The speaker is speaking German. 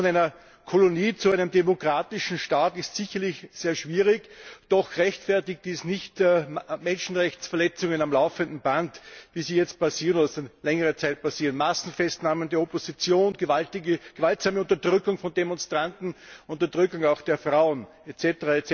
Der Weg von einer Kolonie zu einem demokratischen Staat ist sicherlich sehr schwierig, doch rechtfertigt dies nicht Menschenrechtsverletzungen am laufenden Band, wie sie jetzt seit längerer Zeit passieren Massenfestnahmen der Opposition, gewaltsame Unterdrückung von Demonstranten, Unterdrückung auch der Frauen, etc.